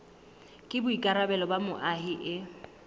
ke boikarabelo ba moahi e